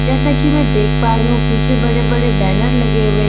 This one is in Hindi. जैसा की मै देख पा रही हुँ पीछे बड़े बड़े बैनर लगे हुए--